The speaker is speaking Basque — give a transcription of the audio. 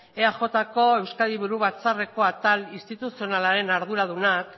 eajko euskadi buru batzarreko atal instituzionalaren arduradunak